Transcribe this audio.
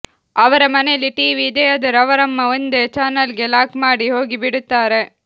ಅವರ ಮನೆಯಲ್ಲಿ ಟಿವಿ ಇದೆಯಾದರೂ ಅವರಮ್ಮ ಒಂದೇ ಚಾನೆಲ್ಗೆ ಲಾಕ್ ಮಾಡಿ ಹೋಗಿ ಬಿಡುತ್ತಾರೆ